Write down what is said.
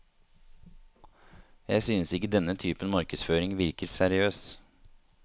Jeg synes ikke denne typen markedsføring virker seriøs.